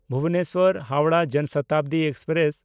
ᱵᱷᱩᱵᱚᱱᱮᱥᱥᱚᱨ–ᱦᱟᱣᱲᱟᱦ ᱡᱚᱱ ᱥᱚᱛᱟᱵᱫᱤ ᱮᱠᱥᱯᱨᱮᱥ